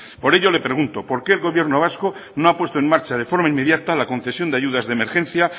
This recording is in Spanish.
por ello le pregunto por qué el gobierno vasco no ha puesto en marcha de forma inmediata la concesión de ayudas de emergencia